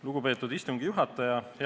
Lugupeetud istungi juhataja!